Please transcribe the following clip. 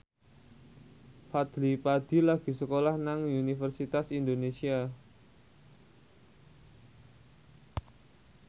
Fadly Padi lagi sekolah nang Universitas Indonesia